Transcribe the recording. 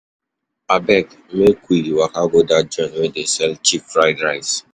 Abeg, make we waka go dat joint wey dey sell cheap fried rice.